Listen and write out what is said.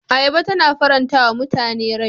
Ayaba tana faranta wa mutane rai.